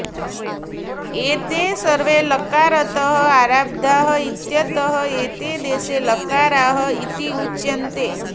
एते सर्वे लकारतः आरब्धाः इत्यतः एते दश लकाराः इति उच्यन्ते